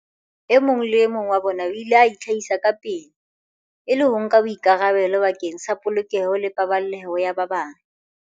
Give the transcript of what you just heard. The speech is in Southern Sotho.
E mong le e mong wa bona o ile a itlhahisa kapele, e le ho nka boikarabelo bakeng sa polokeho le paballeho ya ba bang.